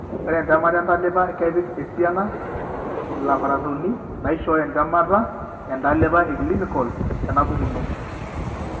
Ore entemata entalipa kepik esiana ilabaratorini naishooyo entemata entalipa eclinical tenapukuno.